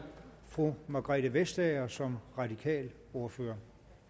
fru margrethe vestager som radikal ordfører